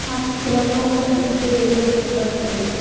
ఆ చిత్రంలో ఒక జూ ఏరియా కనబడుతుంది.